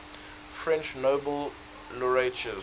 french nobel laureates